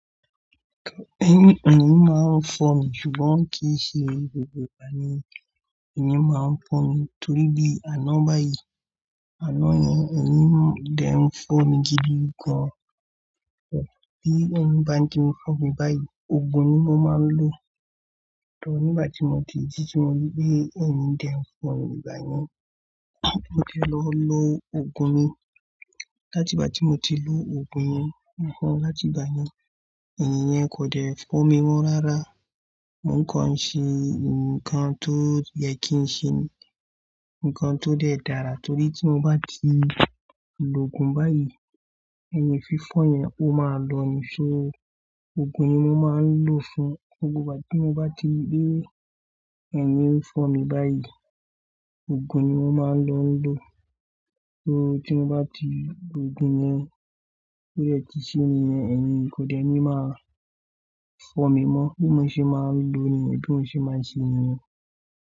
Ẹ̀yin máa ń fọ́ mi, ṣùgbọ́n kì í ṣe gbogbo ìgbà ni ẹ̀yin máa ń fọ́ mi. Torí bí àná báyìí, àná yẹn ẹ̀yin dẹ̀ ń fọ́ mi gidi gan. Bí ẹ̀yin bá tin fọ́ mi báyìí, òògùn ni mo máa ń lò. Torí n gbà tí mo ti jí ti mori pé ẹ̀yin dẹ̀ ń fọ́ mi báyìí, mo ti lọ lo òògùn mi. Látì ìgbà tí mo ti lo òògùn yẹn, láti ìgbà yẹn ẹ̀yin yẹn kò dẹ̀ fọ́ mi mọ́ rárá. Mo nìkan ń ṣe nǹkan tó yẹ kí n ṣe, nǹkan tó dẹ̀ dára torí tí mo bá ti lo òògùn báyìí, ẹ̀yin fífọ́ yẹn ó máa lọ ni. So òògùn yìí ni mo máa ń lò fún. Gbogbo ìgbà tí mo bá ti rí pé ẹ̀yin ń fọ́ mi báyìí, òògùn ni mo máa lọ lò. So tí mo bá ti lo òògùn yẹn, ó yẹ kí ṣe yẹn, ẹ̀yin kò dẹ̀ ní máa fọ́ mi mọ́. Bí mo ṣe máa ń lo ni, bí mo ṣe máa ń ṣe ni.